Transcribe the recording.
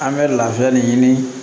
An bɛ lafiya de ɲini